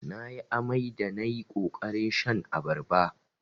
Nayi amai da nayi ƙoƙarin shan abarba.